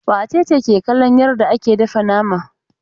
Wace ce ke kallon yarda ake dafa nama?